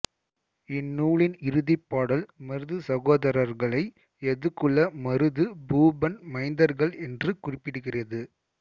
இந்நூலின் இறுதி பாடல் மருது சகோதரர்களை யதுகுல மருது பூபன் மைந்தர்கள் என்று குறிப்பிடுகிறது